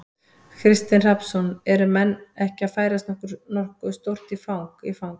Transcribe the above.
Kristinn Hrafnsson: Eru menn ekki að færast nokkuð stórt í, í fang?